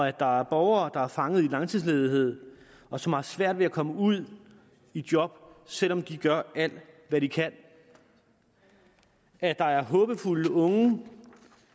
at der er borgere der er fanget i langtidsledighed og som har svært ved at komme ud i job selv om de gør alt hvad de kan at der er håbefulde unge i